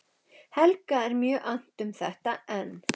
Helga er mjög annt um þetta, en